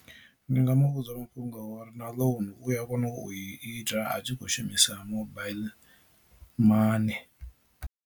Ndi nga muvhudza mafhungo a uri na ḽounu u ya kona u ita a tshi kho shumisa mobile money.